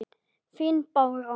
Þín, Bára.